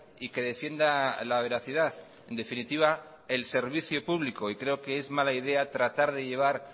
y que defienda la veracidad en definitiva el servicio público creo que es mala idea tratar de llevar